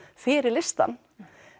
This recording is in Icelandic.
fyrir listann